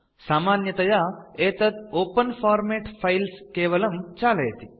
सामान्यतया एतत् open format files केवलं चालयति